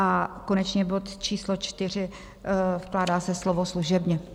A konečně bod číslo čtyři - vkládá se slovo "služebně".